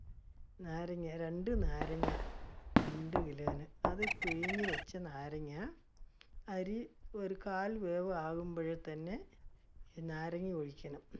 നാരങ്ങാ, രണ്ട് നാരങ്ങ രണ്ട് kilo ന് അത് പിഴിഞ്ഞ് വെച്ച നാരങ്ങ, അരി ഒരു കാല് വേവ് ആവുമ്പോൾ തന്നെ നാരങ്ങാ ഒഴിക്കണം